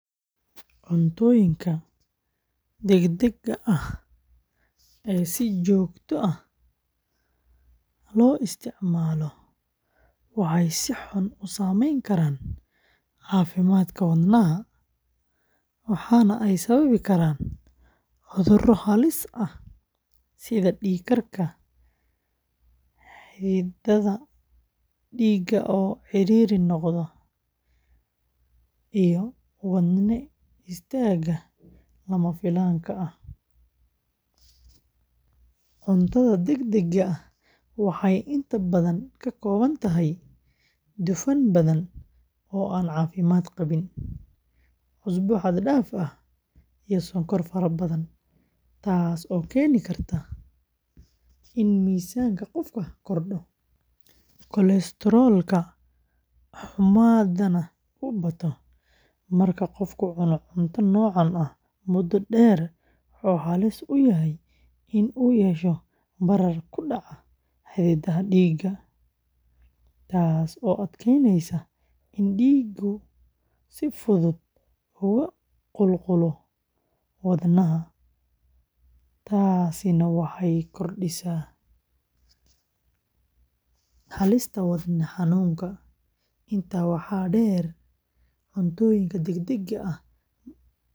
Cuntooyinka degdegga ah ee si joogto ah loo isticmaalo waxay si xun u saameyn karaan caafimaadka wadnaha, waxaana ay sababi karaan cudurro halis ah sida dhiig karka, xididdada dhiigga oo ciriiri noqda, iyo wadne istaaga lama filaanka ah. Cuntada degdegga ah waxay inta badan ka kooban tahay dufan badan oo aan caafimaad qabin, cusbo xad-dhaaf ah, iyo sonkor fara badan, taasoo keeni karta in miisaanka qofka kordho, kolesteroolka xumaadana uu bato. Marka qofku cuno cunto noocaan ah muddo dheer, wuxuu halis u yahay in uu yeesho barar ku dhaca xididdada dhiigga, taas oo adkeynaysa in dhiiggu si fudud ugu qulqulo wadnaha, taasina waxay kordhisaa halista wadne xanuunka. Intaa waxaa dheer, cuntooyinka degdegga ah ma laha nafaqo.